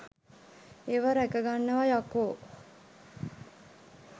ඒවා රැකගන්නවා යකෝ'.